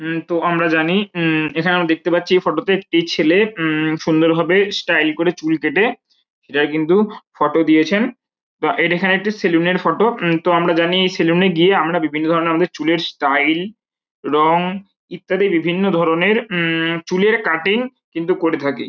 উম তো আমরা জানি উম এখানেও দেখতে পাচ্ছি এই ফটো -তে একটি ছেলে উম সুন্দরভাবে স্টাইল করে চুল কেটে সেটাকে কিন্তু ফটো দিয়েছেন। তা এটা এখানে একটি সেলুন এর ফটো। উম তো আমরা জানি সেলুন এ গিয়ে আমরা বিভিন্ন ধরণের আমাদের চুলের স্টাইল রঙ ইত্যাদি বিভিন্ন ধরণের উম চুলের কাটিং কিন্তু করে থাকি।